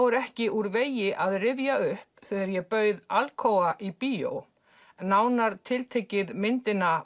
er ekki úr vegi að rifja upp þegar ég bauð Alcoa í bíó nánar tiltekið myndina